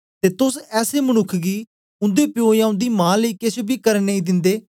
ते तोस ऐसे मनुक्ख गी उन्दे प्यो या उन्दी मां लेई केछ बी करन नेई दिंदे